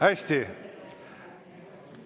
Hästi.